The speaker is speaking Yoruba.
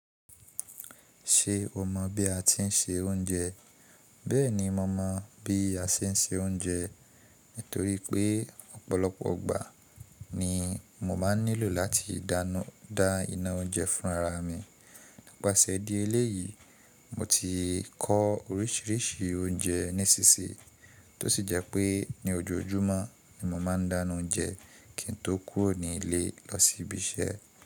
Ṣé o mọ̀ bí a ti ń se oúnjẹ? Bẹ́ẹ̀ni mo mọ̀ bí a ṣe ń se oúnjẹ, torí pé ọ̀pọ̀lọpọ̀ gbà ni mo máa ń nílò láti dána da iná oúnjẹ fún ara mi. Nipase di eléyìí, mo ti kọ orísìírísìí oúnjẹ nísìnsíyí, tó sì jẹ́ pé ní ojoojúmọ́ ni mo máa ń dána oúnjẹ kí n tó kúrò nílé lọ sí ibi iṣẹ́.